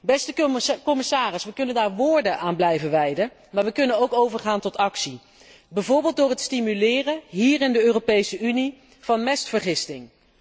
Beste commissaris, we kunnen daar woorden aan blijven wijden, maar we kunnen ook overgaan tot actie, bijvoorbeeld door het stimuleren, hier in de Europese Unie, van mestvergisting.